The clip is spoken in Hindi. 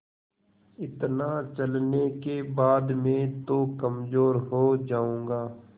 इतना चलने के बाद मैं तो कमज़ोर हो जाऊँगा